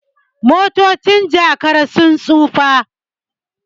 motocin Jakara sun tsufa